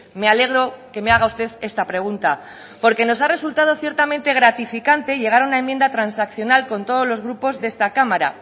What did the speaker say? me alegro que me haga usted esta pregunta porque nos ha resultado ciertamente gratificante llegar a una enmienda transaccional con todos los grupos de esta cámara